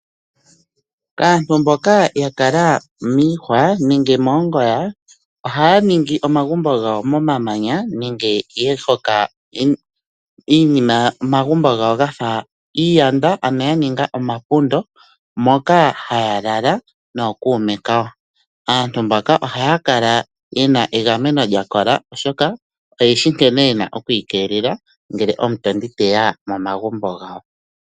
Kaantu mboka ya kala miihwa nenge moongoya, ohaya ningi omagumbo gawo momamanya nenge ya hoka omagumbo gawo ga fa iiyanda, ano ya ninga omapundo moka haya lala nookuume kawo. Aantu mbaka ohaya kala ye na egameno lya kola, oshoka oye shi nkene ye na oku ikeelela ngele omutondi te ya momagumbo gawo.